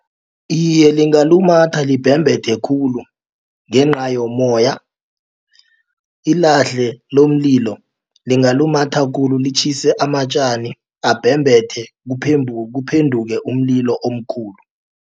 Iye, lingalumatha libhembethe khulu ngenca yommoya. Ilahle lomlilo lingalumatha khulu litjhise amatjani abhembethe kuphenduke umlilo omkhulu.